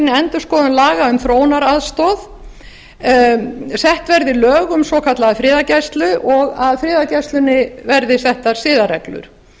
endurskoðun laga um þróunaraðstoð sett verði lög um svokallaða friðargæslu og að friðargæslunni verði settar siðareglur